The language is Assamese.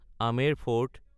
Amer fort (Amber fort)